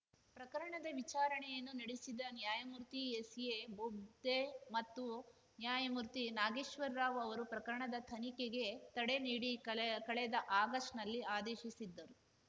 ಪ್ರಕರಣದ ವಿಚಾರಣೆಯನ್ನು ನಡೆಸಿದ ನ್ಯಾಯಮೂರ್ತಿ ಎಸ್‌ಎಬೊಬ್ದೆ ಮತ್ತು ನ್ಯಾಯಮೂರ್ತಿ ನಾಗೇಶ್ವರ್‌ ರಾವ್‌ ಅವರು ಪ್ರಕರಣದ ತನಿಖೆಗೆ ತಡೆ ನೀಡಿ ಕಳೆ ಕಳೆದ ಆಗಸ್ಟ್‌ನಲ್ಲಿ ಆದೇಶಿಸಿದ್ದರು